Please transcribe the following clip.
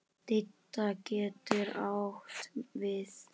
Didda getur átt við